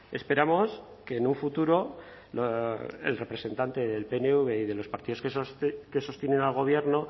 esperamos que en un futuro el representante del pnv y de los partidos que sostienen al gobierno